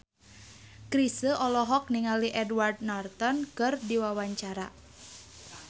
Chrisye olohok ningali Edward Norton keur diwawancara